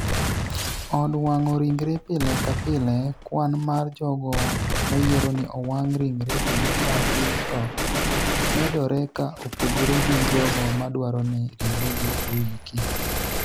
od wang'o ringre. pile ka pile kwan mar jogo mayiero ni owang' ringre gi ka gi tho medore ka opogore gi jogo madwaro ni ringregi oiki